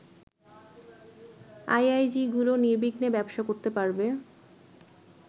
আইআইজিগুলো নির্বিঘ্নে ব্যবসা করতে পারবে